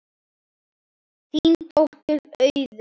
Þín dóttir, Auður.